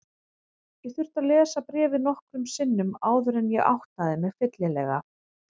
Ég þurfti að lesa bréfið nokkrum sinnum áður en ég áttaði mig fyllilega.